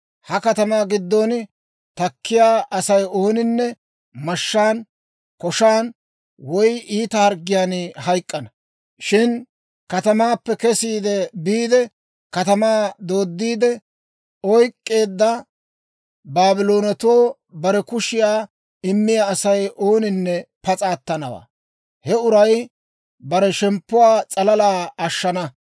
Ha katamaa giddon takkiyaa Asay ooninne mashshaan, koshan woy iita harggiyaan hayk'k'ana. Shin katamaappe kesiide biide, katamaa dooddiide oyk'k'eedda Baabloonetoo bare kushiyaa immiyaa Asay ooninne pas'a attanawaa; he uray bare shemppuwaa s'alala ashshana.